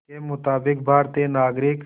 के मुताबिक़ भारतीय नागरिक